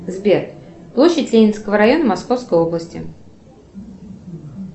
сбер площадь ленинского района московской области